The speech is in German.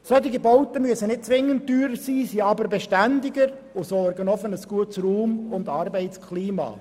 Solche Bauten müssen nicht zwingend teurer sein, sie sind aber beständiger und sorgen auch für ein gutes Raum- und Arbeitsklima.